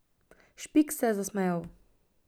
Špik se je zasmejal.